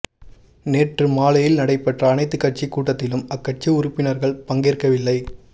நேற்று மாலையில் நடைபெற்ற அனைத்துக் கட்சி கூட்டத்திலும் அக்கட்சி உறுப்பினர்கள் பங்கேற்கவில்லை